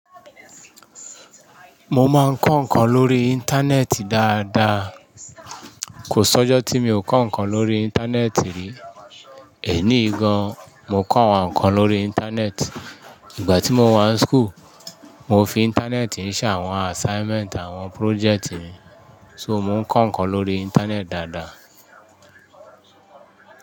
Mo máa ń kọ́ ǹkan lórí Íńtánẹ́ẹ̀tì dáadáa. Kò sọ́jọ́ tí mi ò kọ́ ǹkan lórí Íńtánẹ́ẹ̀tì rí. Èní yi gan, mo kọ àwọn ǹkan lórí Íńtánẹ́ẹ̀tì. Ìgbà tí mo wà ní school, mo fi Íńtánẹ́ẹ̀tì ń ṣe àwọn assignment àwọn project mi. So mo ń kọ́ ǹkan lórí Íńtánẹ́ẹ̀tì dáadáa.